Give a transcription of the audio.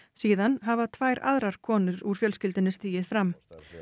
síðan hafa tvær aðrar konur úr fjölskyldunni stigið fram